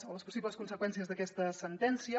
o les possibles conseqüències d’aquesta sentència